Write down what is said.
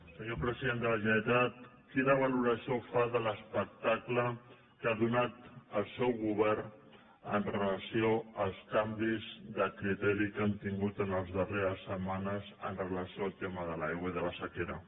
senyor president de la generalitat quina valoració fa de l’espectacle que ha donat el seu govern amb relació als canvis de criteri que han tingut en les darreres setmanes amb relació al tema de l’aigua i de la sequera